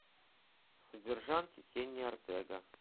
содержанки кенни ортега